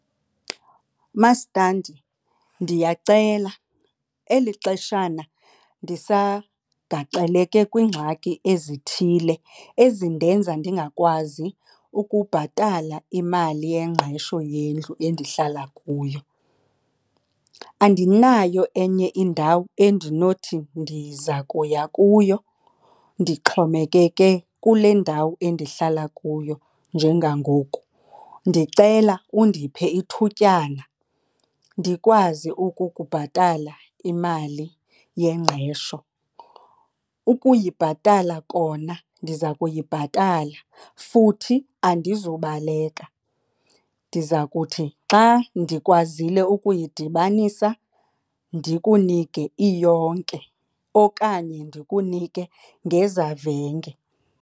Mastandi, ndiyacela eli xeshana ndisagaxeleke kwiingxaki ezithile ezindenza ndingakwazi ukubhatala imali yengqesho yendlu endihlala kuyo. Andinayo enye indawo endinothi ndiza kuya kuyo. Ndixhomekeka ke kule ndawo endihlala kuyo njengangoku. Ndicela undiphe ithutyana ndikwazi ukukubhatala imali yengqesho, ukuyibhatala kona ndiza kuyibhatala futhi andizubaleka. Ndiza kuthi xa ndikwazile ukuyidibanisa ndikunike iyonke okanye ndikunike ngezavenge.